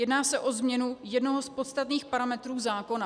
Jedná se o změnu jednoho z podstatných parametrů zákona.